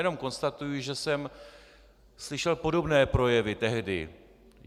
Jenom konstatuji, že jsem slyšel podobné projevy tehdy.